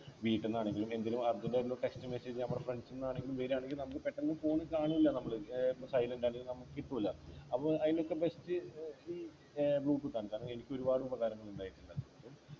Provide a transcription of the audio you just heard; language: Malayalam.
വീട്ടിന്നാണെങ്കിലും എന്തിനും Urgent ആയിട്ടുള്ള Text message നമ്മുടെ friends ന്ന് ആരെങ്കിലും വരുവാണെങ്കിൽ നമുക് പെട്ടെന്ന് Phone കാണില്ല നമ്മള് ഏർ silent ആണെങ്കി നമുക്ക് കിട്ടൂല അപ്പൊ അയിനൊക്കെ best ഏർ ഈ ഏർ bluetooth ആണ് കാരണം എനിക്കൊരുപാട് ഉപകാരങ്ങൾ ഉണ്ടായിട്ടുണ്ട്